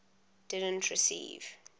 didn t receive